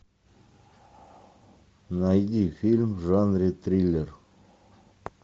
найди фильм в жанре триллер